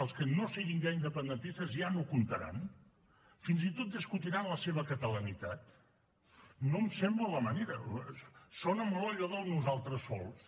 els que no siguin ja independentistes ja no comptaran fins i tot discutiran la seva catalanitat no em sembla la manera sona molt a allò del nosaltres sols